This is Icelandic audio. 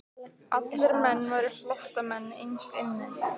Allir menn væru flóttamenn innst inni.